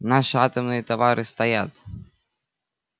наши атомные товары стоят